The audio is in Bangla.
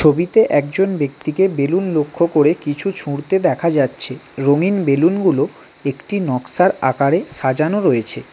ছবিতে একজন ব্যক্তিকে বেলুন লক্ষ্য করে কিছু ছুড়তে দেখা যাচ্ছে রঙিন বেলুন -গুলো একটি নক্সার আকারে সাজানো রয়েছে।